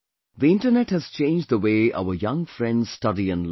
The internet has changed the way our young friends study and learn